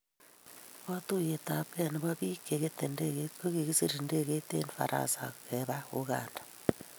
Katuiyeyabkei nebo bik che ketei ndege it kokisiir ndegeit eng faransa keba uganda